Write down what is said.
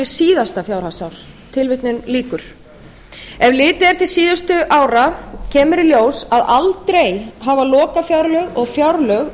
síðasta fjárhagsár ef litið er til síðustu ára kemur í ljós að aldrei hafa lokafjárlög og fjárlög